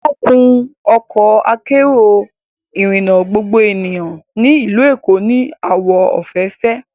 Wọ́n kun Ọkọ akérò ìrìnà gbogbo ènìyàn ní ìlú Èkó ní àwọ̀ òféèfé